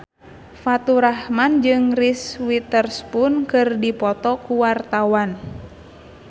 Faturrahman jeung Reese Witherspoon keur dipoto ku wartawan